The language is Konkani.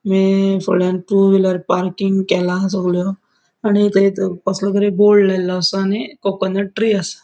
म फुड्यान टू व्हीलर पार्किंग केला सोगल्यो आणि थंयत कसलो तरी बोर्ड लायलो असा आणि कोकनट ट्री असा.